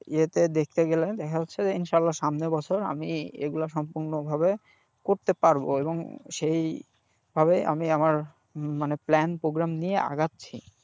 ইতে দেখতে গেলে দেখা যাচ্ছে যে ইনশাল্লাহ সামনের বছর আমি এগুলো সম্পূর্ণভাবে করতে পারবো এবং সেই ভাবেই আমি আমার মানে plan program নিয়ে আগাছি,